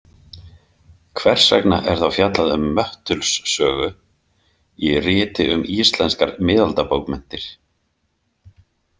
Hvers vegna er þá fjallað um Möttuls sögu í riti um íslenskar miðaldabókmenntir?